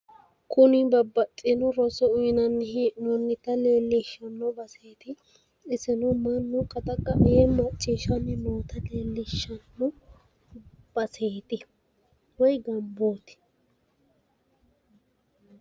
Kuni babbaxxino roso uyiinanni he'nooyeeta leellishshanno baseeti. Isino mannu qaxaqa'a yee maacciishshanni noota leellishanno baseeti woyi gambooti.